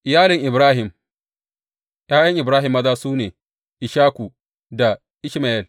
Iyalin Ibrahim ’Ya’yan Ibrahim maza su ne, Ishaku da Ishmayel.